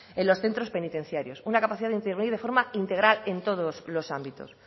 en los centros penitenciarios una capacidad de intervenir de forma integral en todos los ámbitos